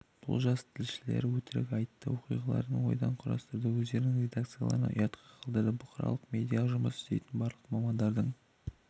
бұл жас тілшілер өтірік айтты оқиғаларды ойдан құрастырды өздерінің редакцияларын ұятқа қалдырды бұқаралық медиада жұмыс істейтін барлық мамандардың